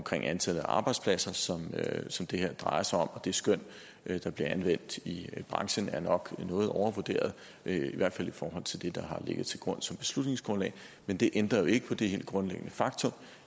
antallet af arbejdspladser som som det her drejer sig om og det skøn der bliver anvendt i branchen er nok noget overvurderet i hvert fald i forhold til det der har ligget til grund som beslutningsgrundlag men det ændrer jo ikke på det helt grundlæggende faktum